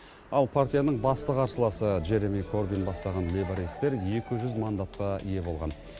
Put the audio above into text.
ал партияның басты қарсыласы джереми корбин бастаған лейбористер екі жүз мандатқа ие болған